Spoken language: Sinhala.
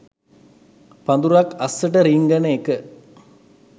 පඳුරක් අස්සට රිංගන එක